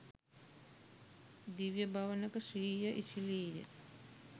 දිව්‍ය භවනක ශ්‍රීය ඉසිලීය